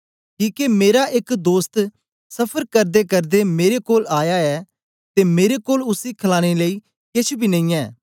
किके मेरा एक दोस्त सफर करदेकरदे मेरे कोल आया ऐ ते मेरे कोल उसी खलाने लेई केछ बी नेईयैं